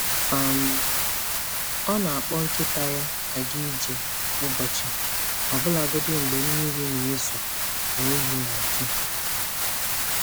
um Ọ na-akpọ nkịta ya aga ije kwa ụbọchị, ọbụlagodi mgbe mmiri na-ezo na oyi na-atụ.